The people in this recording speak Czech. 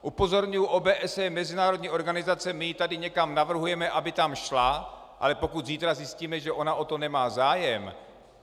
Upozorňuji, OBSE je mezinárodní organizace, my ji tady někam navrhujeme, aby tam šla - ale pokud zítra zjistíme, že ona o to nemá zájem?